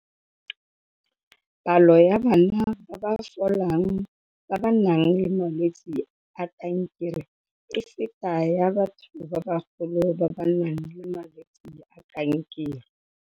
Palo ya bana ba ba folang ba ba nang le malwetse a kankere e feta ya batho ba bagolo ba ba nang le malwetse a kankere.